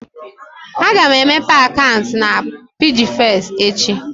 Aga m emeghe akaụntụ na PiggyVest echi